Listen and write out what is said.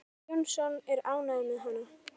Jónas Jónsson er ánægður með hana.